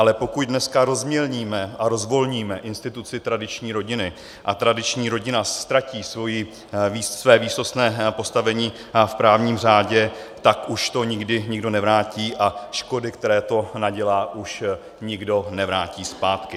Ale pokud dneska rozmělníme a rozvolníme instituci tradiční rodiny a tradiční rodina ztratí své výsostné postavení v právní řádě, tak už to nikdy nikdo nevrátí a škody, které to nadělá, už nikdo nevrátí zpátky.